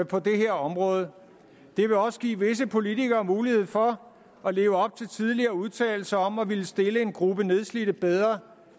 på det her område det vil også give visse politikere mulighed for at leve op til tidligere udtalelser om at ville stille en gruppe nedslidte bedre